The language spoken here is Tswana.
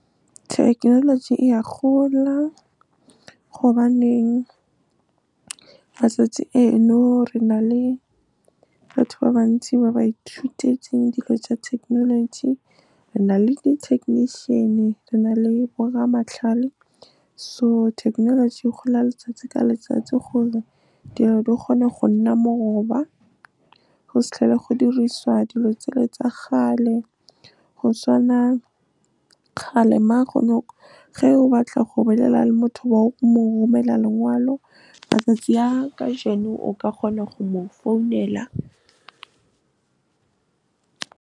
Thekenoloji e a gola gobaneng matsatsi eno re na le batho ba bantsi ba ba ithutetseng dilo tsa thekenoloji. Re na le di-technician, re na le bo rra matlhale, so thekenoloji e gola letsatsi ka letsatsi gore dilo di kgone go nna moroba, go se tlhole go dirisiwa dilo tsele tsa kgale. Go tswana ge o batla go bolela le motho, o mo romele lengwalo. Matsatsi a ka jeno o ka kgona go mo founela.